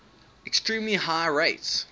extremely high rates